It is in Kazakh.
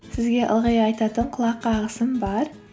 сізге ылғи айтатын құлақ қағысым бар